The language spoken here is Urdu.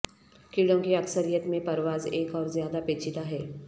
کیڑوں کی اکثریت میں پرواز ایک اور زیادہ پیچیدہ ہے